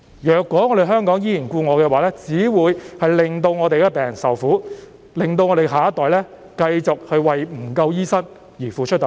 如果香港依然故我，只會令病人受苦，令我們的下一代繼續為醫生不足而付出代價。